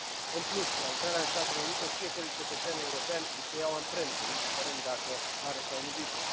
În plus, la intrarea în Statele Unite fiecărui cetățean european i se iau amprente, indiferent dacă are sau nu viză.